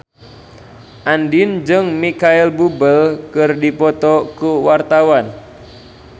Andien jeung Micheal Bubble keur dipoto ku wartawan